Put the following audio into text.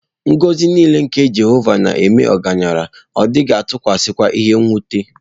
Ngọzi nile nke Jehova nēme ọgaranya, Ọ dighi-atukwasi kwa ihe-nwuta.